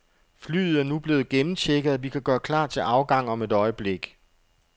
Flyet er nu blevet gennemchecket, og vi kan gøre klar til afgang om et øjeblik.